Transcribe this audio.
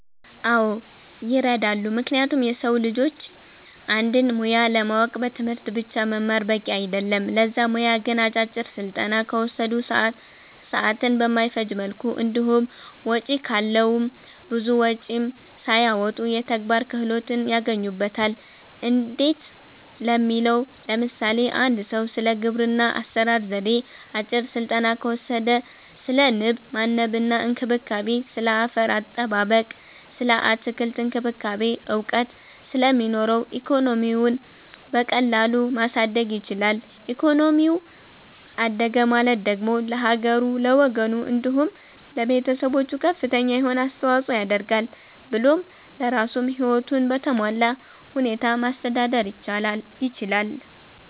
አዎ ይረዳሉ ምክንያቱም የሰዉ ልጆች አንድን ሙያ ለማወቅ በትምህርት ብቻ መማር በቂ አይደለም ለዛ ሙያ ግን አጫጭር ስልጠና ከወሰዱ፣ ሰዓትን በማይፈጅ መልኩ እንዲሁም ወጪ ካለዉም ብዙ ወጪም ሳያወጡ የተግባር ክህሎትን ያገኙበታል እንዴት ለሚለዉ ለምሳሌ፦ አንድ ሰዉ ስለ ግብርና አሰራር ዜዴ አጭር ስልጠና ከወሰደ ስለ ንብ ማነብ እና እንክብካቤ፣ ስለ አፈር አጠባበቅ ስለ አትክልት እክንክብካቤ እዉቀት ስለሚኖረዉ ኢኮኖሚዉን በቀላሉ ማሳደግ ይችላል ኢኮኖሚው አደገ ማለት ደግሞ ለሀገሩ፣ ለወገኑ፣ እንዲሁም ለቤተሰቦቹ ከፍተኛ የሆነ አስተዋፅኦ ያደርጋል ብሎም ለራሱም ህይወቱን በተሟላ ሁኔታ ማስተዳደር ይችላል።